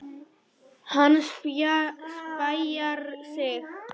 Hann spjarar sig.